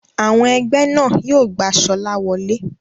Àwọn ẹgbẹ́ náà yóò gba Sola wole.